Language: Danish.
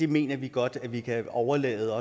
mener vi godt at vi også kan overlade